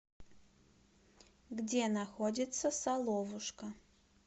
где находится соловушка